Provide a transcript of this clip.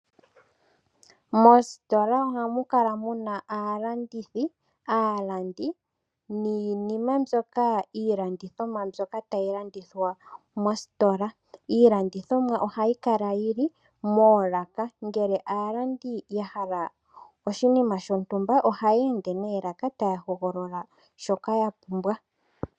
Mositola ohamu kala muna aalandithi, aalandi niinima mbyoka iilandithomwa mbyoka tayi landithwa mositola. Iilandithomwa ohayi kala yili moolaka. Ngele aalandi ya hala oshinima shontumba oha yeende noolaka taya hogolola shoka yapumbwa.